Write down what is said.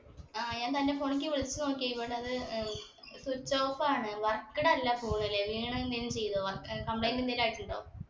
ആ ഞാൻ തൻ്റെ phone ക്ക് വിളിച്ച് നോക്കീ but അത് ഉം switchoff ആണ് worked അല്ല phone അല്ലെ വീണെ എന്തേലും ചെയ്‌തോ work ഏർ complaint എന്തേലു ആയിട്ടുണ്ടോ